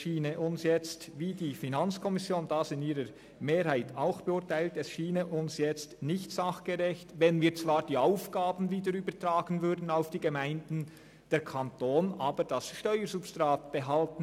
Es schiene uns jetzt nicht sachgerecht, wenn wir zwar die Aufgaben wieder den Gemeinden übertragen würden, der Kanton aber das Steuersubstrat behielte.